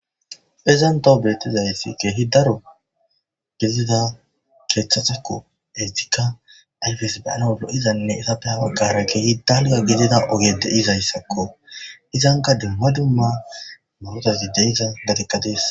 izanntawu beettizayssi kehi daro gizida keeththasakko eestika ayfes baana wolo7izanne isappe hawa gara ke hi dalga gidida ogede izayssakko izanka dumma dumma murotazi deyza gadekkadees